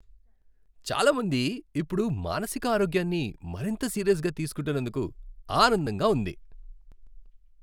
చాలా మంది ఇప్పుడు మానసిక ఆరోగ్యాన్ని మరింత సీరియస్గా తీసుకుంటున్నందుకు ఆనందంగా ఉంది.